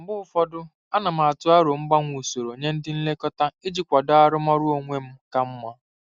Mgbe ụfọdụ, ana m atụ aro mgbanwe usoro nye ndị nlekọta iji kwado arụmọrụ onwe m ka mma.